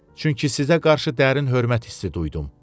Çünki sizə qarşı dərin hörmət hissi duydum.